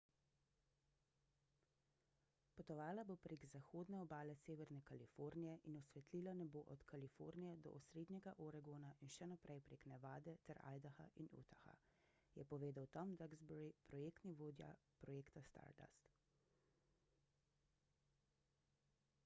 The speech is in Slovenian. »potovala bo prek zahodne obale severne kalifornije in osvetlila nebo od kalifornije do osrednjega oregona in še naprej prek nevade ter idaha do utaha,« je povedal tom duxbury projektni vodja projekta stardust